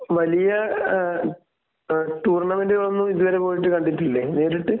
വലിയ ഏഹ് ടൂർണമെന്റിനൊന്നും ഇത് വരെ പോയിട്ട് കണ്ടിട്ടില്ലേ നേരിട്ട്?